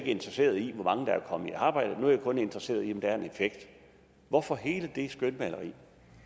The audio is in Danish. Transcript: interesseret i hvor mange der er kommet i arbejde men kun er interesseret i om der er en effekt hvorfor hele det skønmaleri